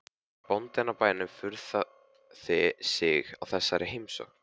Bóndinn á bænum furðaði sig á þessari heimsókn.